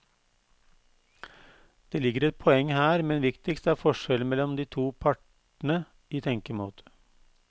Det ligger et poeng her, men viktigst er forskjellen mellom de to partene i tenkemåte.